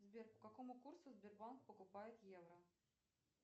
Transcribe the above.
сбер по какому курсу сбербанк покупает евро